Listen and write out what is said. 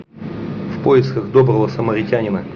в поисках доброго самаритянина